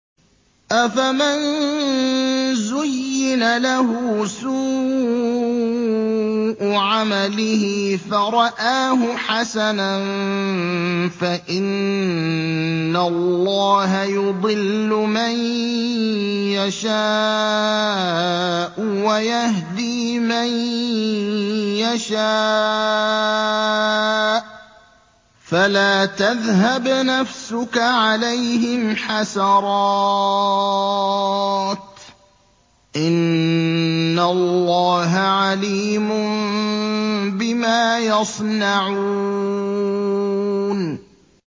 أَفَمَن زُيِّنَ لَهُ سُوءُ عَمَلِهِ فَرَآهُ حَسَنًا ۖ فَإِنَّ اللَّهَ يُضِلُّ مَن يَشَاءُ وَيَهْدِي مَن يَشَاءُ ۖ فَلَا تَذْهَبْ نَفْسُكَ عَلَيْهِمْ حَسَرَاتٍ ۚ إِنَّ اللَّهَ عَلِيمٌ بِمَا يَصْنَعُونَ